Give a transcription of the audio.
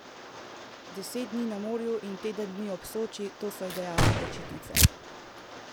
Deset dni na morju in teden dni ob Soči, to so idealne počitnice.